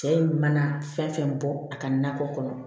Cɛ in mana fɛn fɛn bɔ a ka nakɔ kɔnɔ